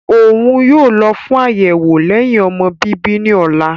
Oun yoo lọ fun ayẹwo lẹhin-ọmọ bibi ni ọla.